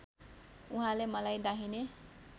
उहाँले मलाई दाहिने